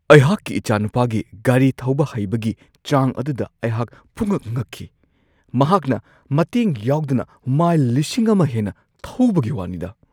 ꯑꯩꯍꯥꯛꯀꯤ ꯏꯆꯥꯅꯨꯄꯥꯒꯤ ꯒꯥꯔꯤ ꯊꯧꯕ ꯍꯩꯕꯒꯤ ꯆꯥꯡ ꯑꯗꯨꯗ ꯑꯩꯍꯥꯛ ꯄꯨꯡꯉꯛ-ꯉꯛꯈꯤ ꯫ ꯃꯍꯥꯛꯅ ꯃꯇꯦꯡ ꯌꯥꯎꯗꯅ ꯃꯥꯏꯜ ꯱꯰꯰꯰ ꯍꯦꯟꯅ ꯊꯧꯕꯒꯤ ꯋꯥꯅꯤꯗꯥ !